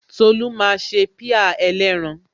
Tolu máa ṣe pie ẹlẹ́ran